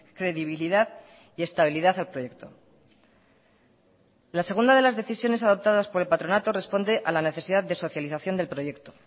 credibilidad y estabilidad al proyecto la segunda de las decisiones adoptadas por el patronato responde a la necesidad de socialización del proyecto